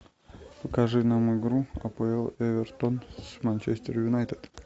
покажи нам игру апл эвертон с манчестер юнайтед